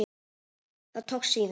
Það tókst síður.